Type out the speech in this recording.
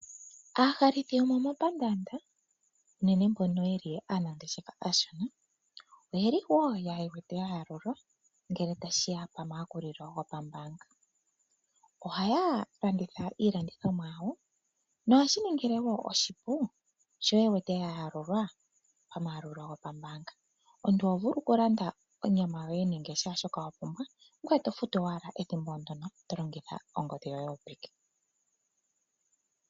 Aahalithi yomomapaandanda unene mbono yeli aanangeshefa aashona oyeli woo yewete ya yalulwa ngele tashiya po ma yakulilo gopambaanga .Ohaya fanditha iilandithomwa yawo nohashi ningile woo oshipu. Omuntu ohovulu okulandaonyama yoye nenge kehe shoka wapumbwa, ngoye to futu owala ethimbo ndono to longitha ongodhi yoye yopeke.